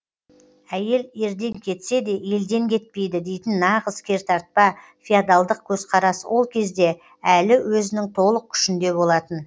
әйел ерден кетсе де елден кетпейді дейтін нағыз кертартпа феодалдық көзқарас ол кезде әлі өзінің толық күшінде болатын